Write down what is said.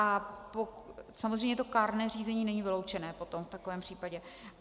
A samozřejmě to kárné řízení není vyloučené potom v takovém případě.